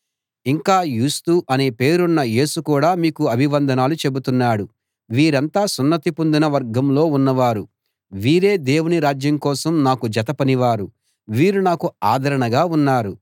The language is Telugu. ఇంకా యూస్తు అనే పేరున్న యేసు కూడా మీకు అభివందనాలు చెబుతున్నాడు వీరంతా సున్నతి పొందిన వర్గంలో ఉన్నవారు వీరే దేవుని రాజ్యం కోసం నాకు జత పనివారు వీరు నాకు ఆదరణగా ఉన్నారు